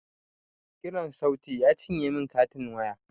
Kiran sauti ya cinye min katin waya